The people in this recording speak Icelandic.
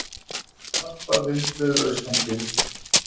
Snarpar vindhviður austantil